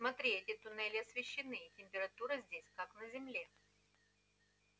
смотри эти туннели освещены и температура здесь как на земле